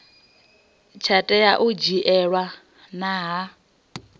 tsha tea u dzhielwa nha